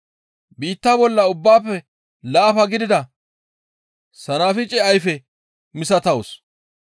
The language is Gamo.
Biitta bolla ubbaafe laafa gidida sanafice ayfe misatawus.